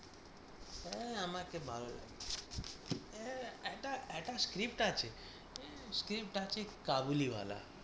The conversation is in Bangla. হ্যাঁ আমাকে ভালো লাগছে না একটা একটা script আছে script আছে কাবুলিওয়ালা